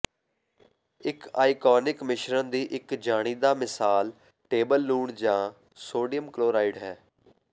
ਇਕ ਆਇਓਨਿਕ ਮਿਸ਼ਰਨ ਦੀ ਇਕ ਜਾਣੀਦਾ ਮਿਸਾਲ ਟੇਬਲ ਲੂਣ ਜਾਂ ਸੋਡੀਅਮ ਕਲੋਰਾਈਡ ਹੈ